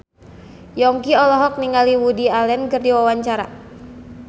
Yongki olohok ningali Woody Allen keur diwawancara